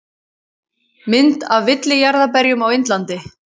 Mynd af villijarðarberjum á Indlandi.